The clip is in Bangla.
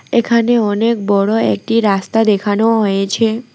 এখানে অনেক বড়ো একটি রাস্তা দেখানো হয়েছে।